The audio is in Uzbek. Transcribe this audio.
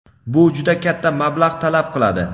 Bu juda katta mablag‘ talab qiladi.